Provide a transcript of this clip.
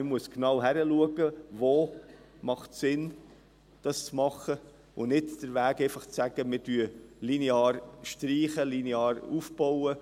Man muss genau hinschauen, wo es sinnvoll ist, etwas zu tun, anstatt einfach linear zu streichen oder abzubauen.